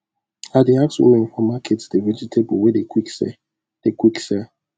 i dey ask women for market the vegatable wey dey quick sell dey quick sell